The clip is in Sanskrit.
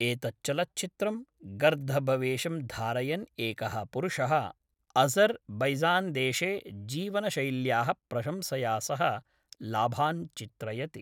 एतच्चलचित्रं गर्दभवेशं धारयन् एकः पुरुषः अज़र् बैजान्देशे जीवनशैल्याः प्रशंसया सह लाभान् चित्रयति।